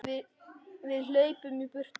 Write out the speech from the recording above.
Við hlaupum í burtu.